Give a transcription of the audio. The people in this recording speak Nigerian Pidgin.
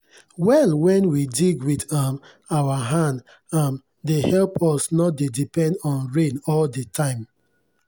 well wen we dig wit um our hand um dey help us nor dey depend on rain all de time.